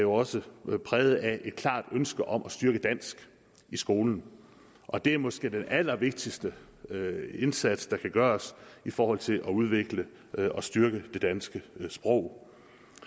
også præget af et klart ønske om at styrke dansk i skolen og det er måske den allervigtigste indsats der kan gøres i forhold til at udvikle og styrke det danske sprog